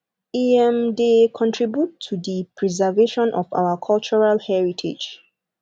e um de contribute to the preservation of our cultural heritage